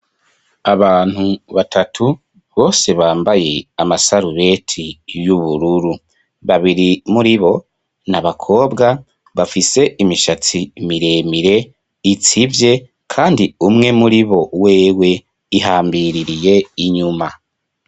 Abantu batatu, bose bambaye amasarubeti y'ubururu. Babiri muribo ni abakobwa bafise imishatsi miremire itsivye kandi umwe muribo wewe ihambiririye inyuma.